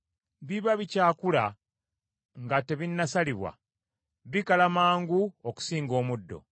Biba bikyakula nga tebinnasalibwa, bikala mangu okusinga omuddo.